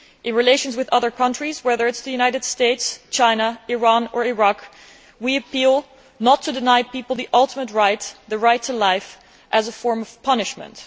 In relations with other countries, whether the United States, China, Iran or Iraq, we appeal to them not to deny people the ultimate right the right to life as a form of punishment.